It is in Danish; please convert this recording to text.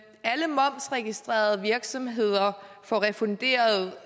alle momsregistrerede virksomheder får refunderet